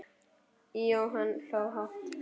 Jóhann hló hátt.